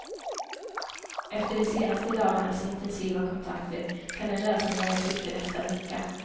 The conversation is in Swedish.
Efter de senaste dagarnas intensiva kontakter kan en lösning vara i sikte nästa vecka.